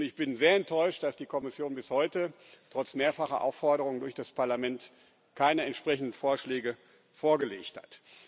Ich bin sehr enttäuscht, dass die Kommission bis heute trotz mehrfacher Aufforderung durch das Parlament keine entsprechenden Vorschläge vorgelegt hat.